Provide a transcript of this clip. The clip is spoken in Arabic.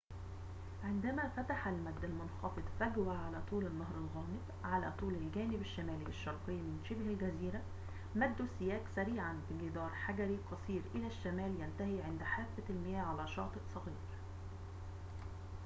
عندما فتح المدّ المنخفض فجوة على طول النهر الغامض على طول الجانب الشمالي الشرقي من شبه الجزيرة مدّوا السياج سريعاً بجدار حجري قصير إلى الشمال ينتهي عند حافة المياه على شاطئ صغير